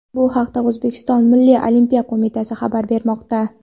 Bu haqda O‘zbekiston Milliy Olimpiya qo‘mitasi xabar bermoqda .